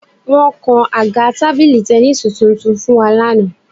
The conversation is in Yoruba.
Wọ́n kan àga tábìlì tẹníìsì tuntun fún wa lánàá